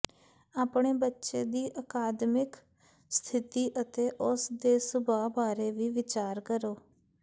ਆਪਣੇ ਬੱਚੇ ਦੀ ਅਕਾਦਮਿਕ ਸਥਿਤੀ ਅਤੇ ਉਸ ਦੇ ਸੁਭਾਅ ਬਾਰੇ ਵੀ ਵਿਚਾਰ ਕਰੋ